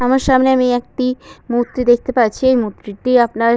আমার সামনে আমি একটি মূর্তি দেখতে পাচ্ছি মূর্তি টি আপনার --